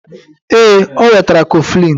Ee, o wetara kọflịn